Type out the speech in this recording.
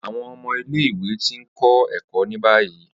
Awọn ọmọ ile-iwe ti n kọ ẹkọ ni bayi.